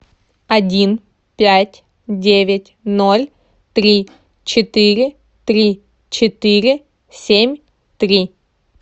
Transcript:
один пять девять ноль три четыре три четыре семь три